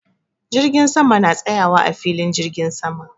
Jirgin sama na tsayawa a filin jirgin sama.